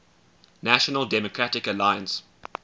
national democratic alliance